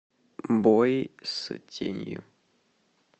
бой с тенью